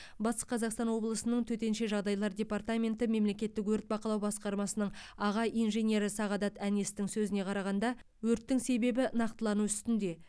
батыс қазақстан облысының төтенше жағдайлар департаменті мемлекеттік өрт бақылау басқармасының аға инженері сағдат әнестің сөзіне қарағанда өрттің себебі нақтылану үстінде